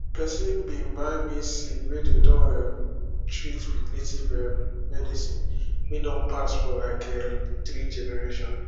person bin buy maize seed wey dey don um treat with native um medicine wey don pass for like um three generation